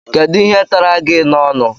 Kedụ ihe tara gị n'ọnu?